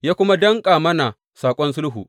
Ya kuma danƙa mana saƙon sulhu.